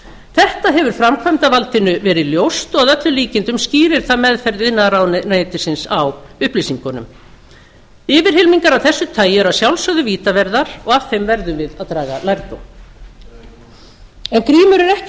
þetta hefur framkvæmdarvaldinu verið ljóst og að öllum líkindum skýrir það meðferð iðnaðarráðuneytisins á upplýsingunum yfirhylmingar af þessu tagi eru að sjálfsögðu vítaverðar og af þeim verðum við að draga lærdóm grímur er ekki